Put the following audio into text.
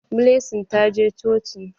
Blessing ta je coci.